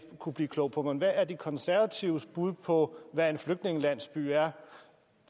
kunnet blive klog på men hvad er de konservatives bud på hvad en flygtningelandsby er